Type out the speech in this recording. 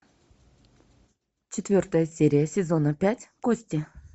четвертая серия сезона пять кости